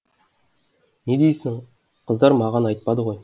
не дейсін қыздар маған айтпады ғой